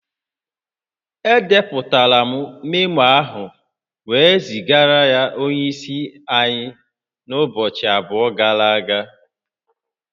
Edepụtara memo ahụ wee zigara onye isi anyị n'ụbọchị abụọ gara aga